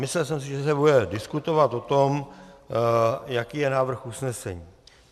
Myslel jsem si, že se bude diskutovat o tom, jaký je návrh usnesení.